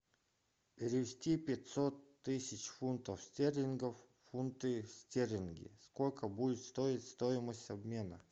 перевести пятьсот тысяч фунтов стерлингов в фунты стерлинги сколько будет стоить стоимость обмена